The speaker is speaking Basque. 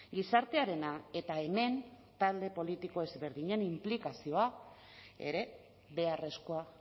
gizartearena eta hemen talde politiko ezberdinen inplikazioa ere beharrezkoa